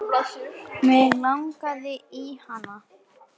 Mig langaði í hana.